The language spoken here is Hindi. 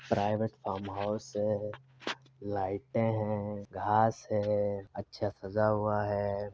प्राइवेट फार्महाउस है। लाइटें हैं घास है अच्छा सजा हुआ है।